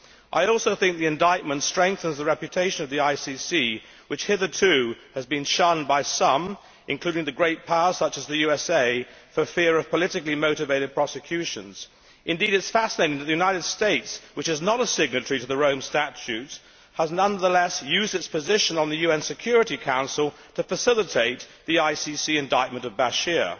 I also think that the indictment strengthens the reputation of the ICC, which hitherto has been shunned by some, including the great powers such as the USA, for fear of politically motivated prosecutions. Indeed it is fascinating that the United States, which is not a signatory to the Rome Statute, has nonetheless used its position on the UN Security Council to facilitate the ICC indictment of Bashir.